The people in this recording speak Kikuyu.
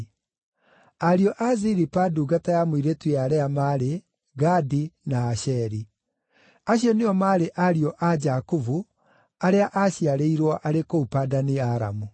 Ariũ a Zilipa ndungata ya mũirĩtu ya Lea maarĩ: Gadi na Asheri. Acio nĩo maarĩ ariũ a Jakubu, arĩa aaciarĩirwo arĩ kũu Padani-Aramu.